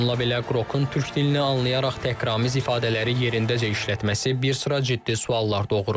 Bununla belə Qrokun türk dilini anlayaraq təhqiramiz ifadələri yerindəcə işlətməsi bir sıra ciddi suallar doğurur.